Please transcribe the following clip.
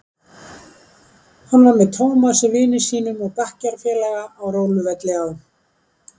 Hann var með Tómasi vini sínum og bekkjarfélaga á róluvelli á